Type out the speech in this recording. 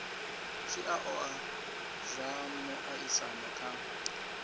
tshi oa zwa muaisano kha